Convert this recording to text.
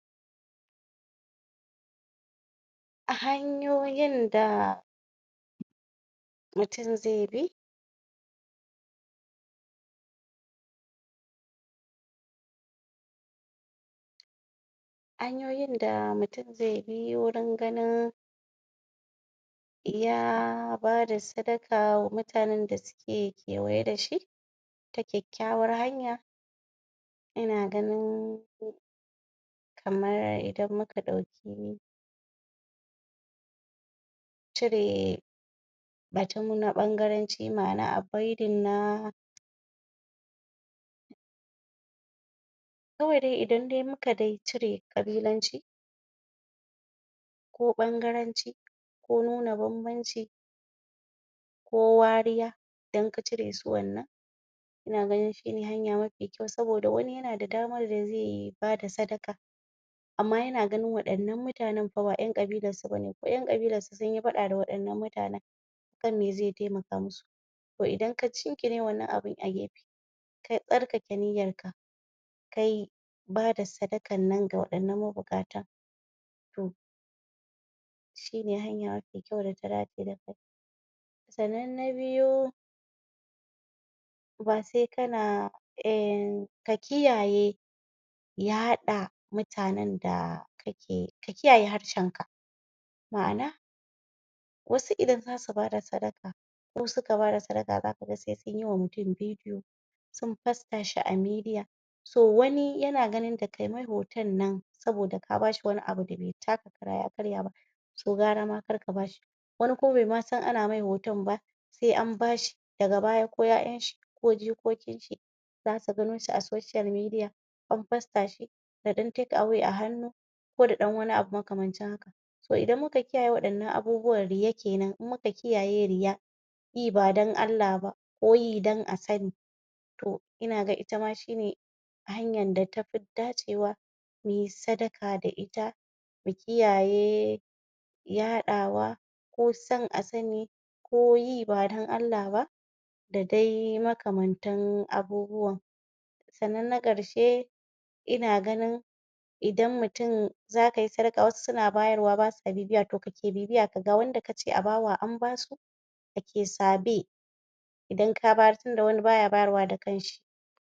A hanyoyin da mutum zaibi hanyoyin da mutum zai bi gurin ganin ya bada sadaka wa mutanan da suke kewaye dashi ta kyakyawar hanya yana ganin kamar idan muka dauki cire batu na bangaranci ma'ana avoiding na kawai dai idan dai muka dai cire kabilanci ko ɓangaranci ko nuna banbanci ko wariya idan ka ciresu wannan ina ganin shine hanya mafi kyau saboda wani yan na da damar da zai bada sadaka amma yana ganin waɗannan mutanan fa ba ƴan ƙabilansu bane ko ƴan ƙabilansu sunyi fada da waɗannan mutanan akan me zai taimaka musu to idan ka gingine wannan abun a gefe to idan ka gingine wannan abu a gefe ka tsarkake niyyarka kai ba da sadakar nan ga waɗannan ma bukatan to shine hanya mafi kyau data dace sannan na biyu basai kana ka kiyaye ya haɗa mutanan da ka kiyaye harshenka ma'ana wasu idan zasu bada sadaka ko suka bada sadaka za kaga sai sunwa mutum video sun fasashi a media to wani yana ganin da kai mai hotan nan saboda ka bashi wani abu da be taka kara ya karya ba to gwara ma karka bashi wani kuma be masan ana mai hitan ba wani kuma be masan ana mai hotan ba sai anbashi daga baya ko ƴa'ƴanshi ko jikokinshi zasu ganoshi a social media an poster shi da ɗan take away a hannu ko da ɗan wani abu makamancin haka to idan muka kiyaye WAɗannan abubuwan riya kenan idan muka kiyaye riya yi badan Allah ba koyi dan a sani to ina ga itama shine hanyar da tafi dacewa muyi sadaka da ita mu kiyaye yaɗawa ko san asani koyi badan Allah ba dadai makamantan abubuwan sannan na karshe ina ganin idan mutum ina ganin idan mutum zakai sadaka wasu suna bayarwa basa bibiya to kake bibiya kaga wanda kace a bawa anbasu kake sabe idan kabayar tunda wani baya bayarwa da kansu